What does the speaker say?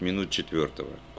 минут четвёртого